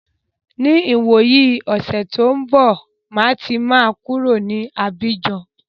Ní ìwòyí ọ̀sẹ̀ tí ó ń bọ̀, máa ti máa kúrò ní Abíjan.